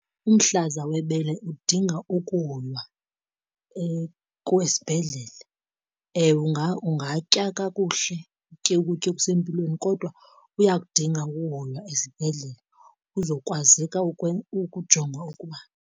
Umhlaza webele udinga ukuhoywa kwesibhedlele. Ewe, ungatya kakuhle, utye ukutya okusempilweni kodwa uyakudinga ukuhoywa esibhedlele kuzokwazeka ukujongwa ukuba.